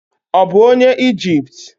Ọ̀ bụ onye Ijipt?